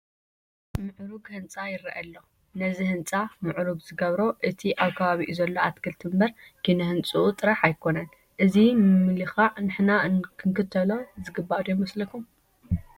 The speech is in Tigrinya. ምዑሩግ ህንፃ ይርአ ኣሎ፡፡ ነዚ ህንፃ ምዕሩግ ዝገበሮ እቲ ኣብ ከባቢኡ ዘሎ ኣትክልቲ እምበር ኪነ ህንፅኡ ጥራሕ ኣይኮነን፡፡ እዚ ምምልካዕ ንሕና ክንክተሎ ዝግባእ ዶ ኣይመስለኩም?